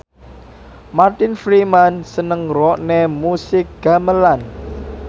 Martin Freeman seneng ngrungokne musik gamelan